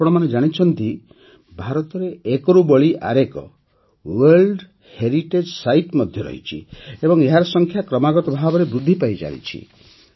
ଆପଣମାନେ ଜାଣିଛନ୍ତି ଯେ ଭାରତରେ ଏକରୁ ବଳି ଆରେକ ୱାର୍ଲଡ଼ ହେରିଟେଜ୍ ସାଇଟ୍ ମଧ୍ୟ ରହିଛି ଏବଂ ଏହାର ସଂଖ୍ୟା କ୍ରମାଗତ ଭାବେ ବୃଦ୍ଧି ପାଇ ଚାଲିଛି